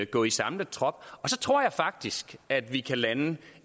gå i samlet trop og så tror jeg faktisk at vi kan lande